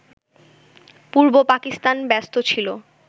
পূর্ব পাকিস্তান ব্যস্ত ছিল